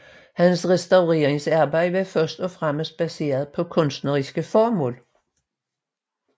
Hans restaureringsarbejder var først og fremmest baseret på kunstneriske formål